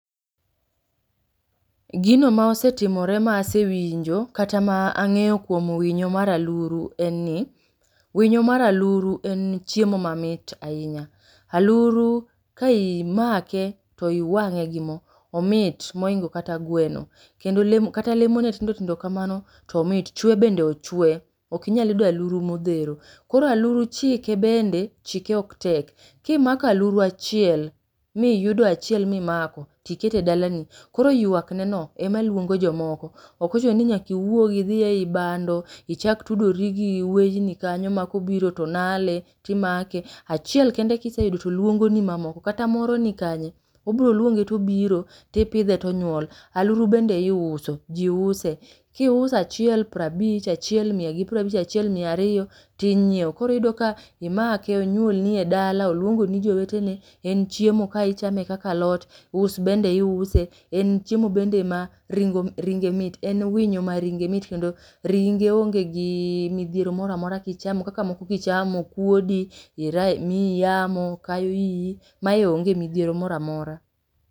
Egino ma osetimore ma asewinjo kata ma ang'eyo kuom winyo mar aluru enni, Winyo mar aluru en chiemo mamit ainya. Aluru ka imake to iwang'e gi moo, omit moingo kata gweno. Kendo lemo kata lemone tindo tindo kamano tomit chwe bende ochwe ok inyal yudo aluru modhero. Koro aluru chieke bende, chieke ok tek. Kimako aluru achiel miyudo achiel mimako tikete dalani. Koro ywakneno emaluongo jomoko okochunoni nyaka iwuog idhie eyi bando ichak tudori gi wenyni kanyo makobiro tonale timake. Achiel kende kiseyudo toluongoni mamoko kata moro nikanye obiro luonge tobiro tipidhe tonyuol. Aluru bende iuso ji use kiuso achiel prabich. Achiel mia gi prabich, achiel mia ariyo tinyiewo. Koro iyudo ka imake onyuolni edala oluongni jowetene en chiemo ka ichame kaka alot us bende iuse. En chiemo bende ma ring ringe mit en winyo maringe mit kendo ringe ongegii midhiero moro amora kichamo kaka moko kichamo kuodi, iyi ra miyi yamo kayo iyi .Mae onge midhiero moro amora.